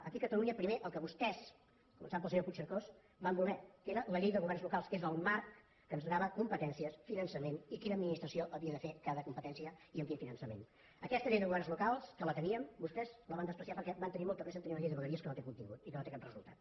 aquí a catalunya primer el que vostès començant pel senyor puigcercós van voler que era la llei de governs locals que és el marc que ens donava competències finançament i quina administració havia de fer cada competència i amb quin finançament aquesta llei de governs locals que la teníem vostès la van menysprear perquè van tenir molta pressa a tenir una llei de vegueries que no té contingut i que no té cap resultat